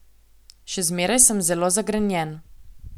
Še zmeraj sem zelo zagrenjen.